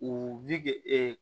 U bi